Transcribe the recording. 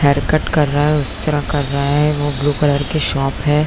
Hair cut कर रहा है उस तरह कर रहा है वो ब्लू कलर की शॉप है।